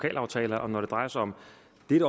et